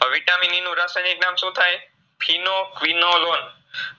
હવે Vitamin E નું રાસાયનીક નામ શુંથાય